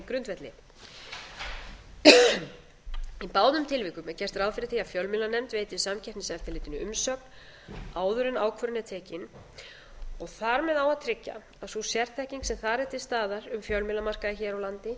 grundvelli í báðum tilvikum er gert ráð fyrir því að fjölmiðlanefnd veiti samkeppniseftirlitinu umsögn áður en ákvörðun er tekin og þar með á að tryggja að sú sérþekking sem þar er til staðar um fjölmiðlamarkaði hér á landi